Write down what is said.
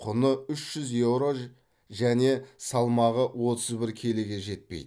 құны үш жүз еуро және салмағы отыз бір келіге жетпейді